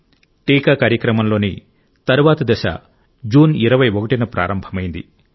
టీకా కార్యక్రమంలోని తరువాతి దశ జూన్ 21 న ప్రారంభమైంది